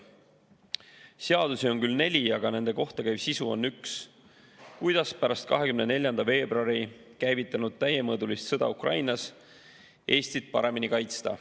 Seadusi on küll neli, aga nende kohta käiv sisu on üks: kuidas pärast 24. veebruaril käivitunud täiemõõdulist sõda Ukrainas Eestit paremini kaitsta.